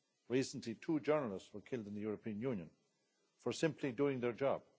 Recently two journalists were killed in the European Union for simply doing their job.